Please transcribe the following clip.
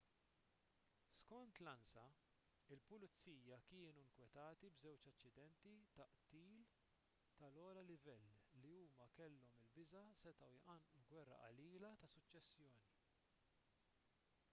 skont l-ansa il-pulizija kienu nkwetati b'żewġ aċċidenti ta' qtil tal-ogħla livell li huma kellhom il-biża' setgħu jqanqlu gwerra qalila tas-suċċessjoni